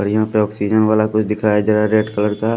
ओर यहां पे ऑक्सीजन वाला कुछ दिखाया जा रहा है रेड कलर का।